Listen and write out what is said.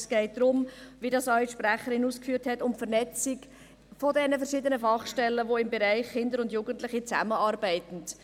Es geht, wie es die Sprecherin ausgeführt hat, um die Vernetzung der verschiedenen Fachstellen, die im Bereich Kinder und Jugendliche zusammenarbeiten.